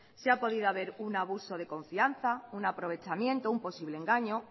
si ha podido haber un abuso de confianza un aprovechamiento un posible engaño